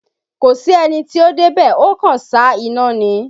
Kò sí ẹni tí ó dé bẹ̀, ó kàn sá iná ni